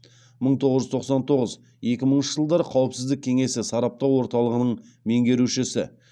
мың тоғыз жүз тоқсан тоғыз екі мыңыншы жылдары қауіпсіздік кеңесі сараптау орталығының меңгерушісі